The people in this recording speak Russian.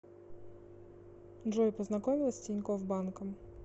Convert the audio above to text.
джой познакомилась с тинькофф банком